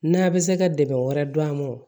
N'a bɛ se ka dɛmɛ wɛrɛ dun a ma wo